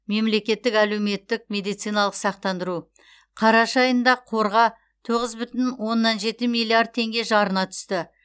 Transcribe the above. мемлекеттік әлеуметтік медициналық сақтандыру қараша айында қорға тоғыз бүтін оннан жеті миллиард теңге жарна түсті